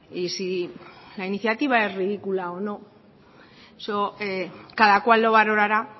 y si la iniciativa es ridícula o no eso cada cual lo valorará